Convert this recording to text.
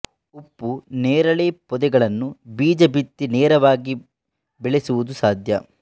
ಉಪ್ಪು ನೇರಳೆ ಪೋದೆಗಳನ್ನು ಬೀಜ ಬಿತ್ತಿ ನೇರವಾಗಿ ಬೆಳೆಸುವುದು ಸಾಧ್ಯ